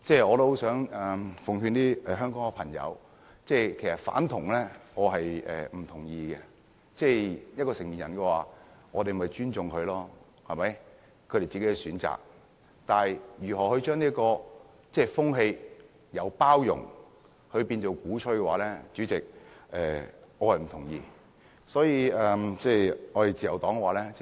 我很想告訴香港的朋友，我不認同"反同"，我們應該尊重成年人自己的選擇，但將這種風氣由包容變為鼓吹，主席，我是不同意的。